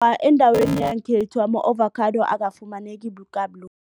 Endaweni yangekhethu ama-avokhado akafumaneki